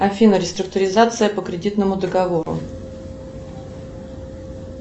афина реструктуризация по кредитному договору